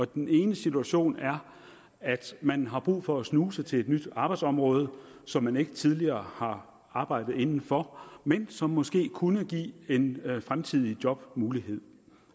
den ene situation er at man har brug for at snuse til et nyt arbejdsområde som man ikke tidligere har arbejdet inden for men som måske kunne give en fremtidig jobmulighed